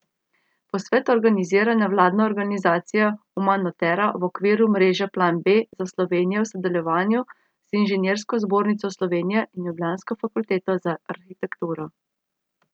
Posvet organizira nevladna organizacija Umanotera v okviru mreže Plan B za Slovenijo v sodelovanju z Inženirsko zbornico Slovenije in ljubljansko fakulteto za arhitekturo.